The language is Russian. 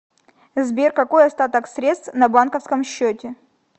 сбер какой остаток средств на банковском счете